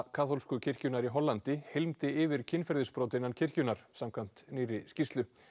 kaþólsku kirkjunnar í Hollandi yfir kynferðisbrot innan kirkjunnar samkvæmt nýrri skýrslu